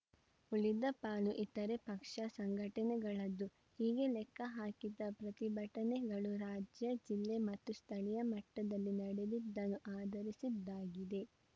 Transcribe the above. ಉಳಿದ ಪಾಲು ಇತರೆ ಪಕ್ಷ ಸಂಘಟನೆಗಳದ್ದು ಹೀಗೆ ಲೆಕ್ಕ ಹಾಕಿದ ಪ್ರತಿಭಟನೆಗಳು ರಾಜ್ಯ ಜಿಲ್ಲೆ ಮತ್ತು ಸ್ಥಳೀಯ ಮಟ್ಟದಲ್ಲಿ ನಡೆದಿದ್ದನ್ನು ಆಧರಿಸಿದ್ದಾಗಿದೆ